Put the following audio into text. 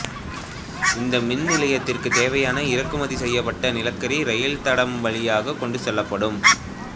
இந்த மின்நிலையத்திற்குத் தேவையான இறக்குமதி செய்யப்பட்ட நிலக்கரி இரயில் தடம் வழியாகக் கொண்டு செல்லப்படும்